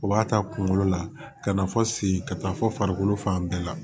U b'a ta kunkolo la ka na fɔ sen ka taa fɔ farikolo fan bɛɛ la